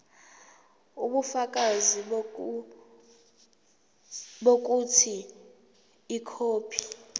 ubufakazi bokuthi ikhophi